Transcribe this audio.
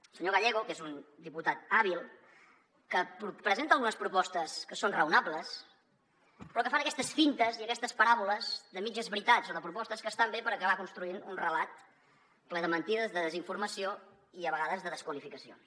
el senyor gallego que és un diputat hàbil presenta algunes propostes que són raonables però que fan aquestes fintes i aquestes paràboles de mitges veritats o de propostes que estan bé per acabar construint un relat ple de mentides de desinformació i a vegades de desqualificacions